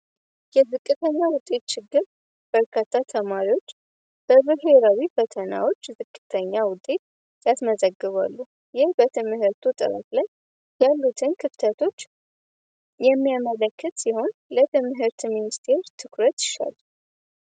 የዝቅተኛ ውጤት ችግር በርካታ ተማሪዎች በብሔራዊ ፈተናዎች ዝቅተኛ ውጤት ያስመዘግባሉ ይህም በትምህርት ጥራት ላይ ያሉትን ክፍተቶች የሚያመለክት ሲሆን የትምህርት ሚኒስትር ትኩረትን ይሻል።